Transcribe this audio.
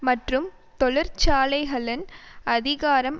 மற்றும் தொழிற்சாலைகளின் அதிகாரம்